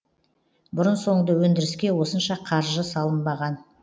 бұрын соңды өндіріске осынша қаржы салынбаған